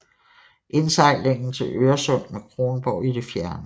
Indsejlingen til Øresund med Kronborg i det fjerne